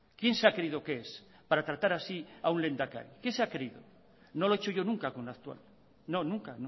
quién se ha creído que es para tratar así a un lehendakari quién se ha creído no lo he hecho yo nunca con el actual no nunca